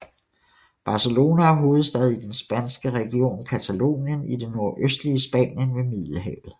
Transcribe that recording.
Barcelona er hovedstad i den spanske region Catalonien i det nordøstlige Spanien ved Middelhavet